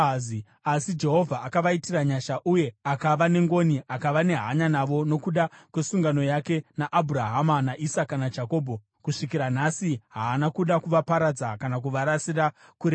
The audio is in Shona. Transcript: Asi Jehovha akavaitira nyasha, uye akava nengoni akava nehanya navo nokuda kwesungano yake naAbhurahama, naIsaka naJakobho. Kusvikira nhasi haana kuda kuvaparadza kana kuvarasira kure naye.